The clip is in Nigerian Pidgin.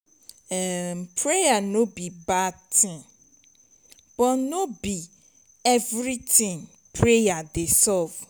um praying no be bad thing but no be everything prayer dey solve